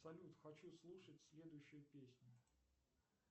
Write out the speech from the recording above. салют хочу слушать следующую песню